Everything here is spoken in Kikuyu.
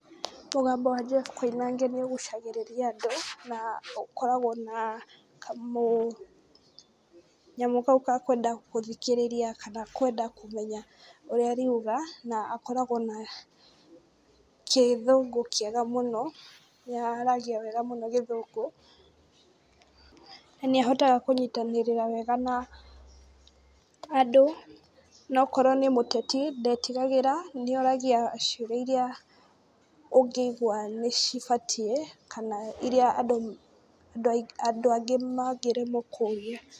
Mũgambo wa Jeff Koinange nĩũgucagĩrĩria andũ, na ũkoragwo na kamũnyamũ kau ga kwenda gũthikĩrĩria kana kwenda kũmenya ũrĩa ariuga, na akoragwo na gĩthũngũ kĩega mũno, nĩaragia wega mũno gĩthũngũ, na nĩahotaga kũnyitanĩrĩra wega na andũ, na akorwo nĩ mũteti, ndetigagĩra, nĩoragia ciũria iria ũngĩigua nĩcibatiĩ, kana iria andũ angĩ mangĩremwo kũria.